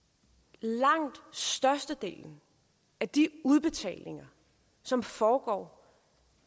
langt størstedelen af de udbetalinger som foregår